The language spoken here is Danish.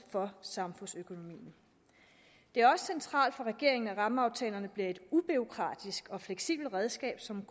og samfundsøkonomien det er også centralt for regeringen at rammeaftalerne bliver et ubureaukratisk og fleksibelt redskab som